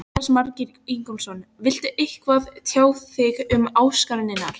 Jónas Margeir Ingólfsson: Viltu eitthvað tjá þig um ásakanirnar?